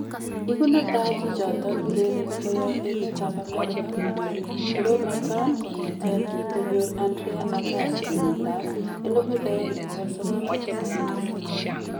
Igu netai chichoton urereni koyob emetab America konyor torornoton kong'eten kingo nyor Andre Aggasi kenyiit ab 1999.